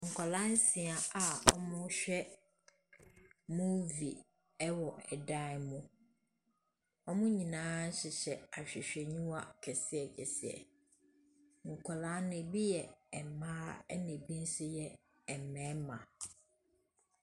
Nkwadaa nsia a wɔrehwɛ movie wɔ dan mu. Wɔn nyinaa hyehyɛ ahwehwɛniwa kɛseɛ kɛseɛ. Nkwadaa no, ebi yɛ mmaa, ɛnna ebi nso yɛ mmarima.